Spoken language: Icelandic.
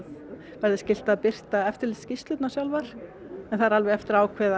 verði skylt að birta eftirlitsskýrslurnar sjálfar en það á alveg eftir að ákveða